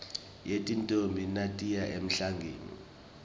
yetintfombi natiya emhlangeni